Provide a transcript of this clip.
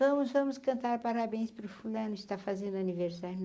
Vamos, vamos cantar parabéns para o fulano está fazendo aniversário.